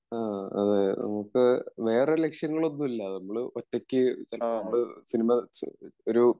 ആ അതെ നമ്മുക്ക് വേറെ ലക്ഷ്യങ്ങളൊന്നുമില്ല നമ്മള് ഒറ്റക്ക് നമ്മള് സിനിമ ഒരു